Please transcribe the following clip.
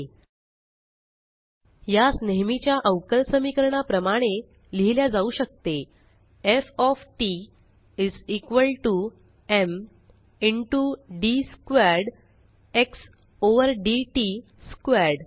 fमा यास नेहेमीच्या अवकल समीकरणा प्रमाणे लिहिल्या जाऊ शकते160F of t is equal to m into d squared x over d t squared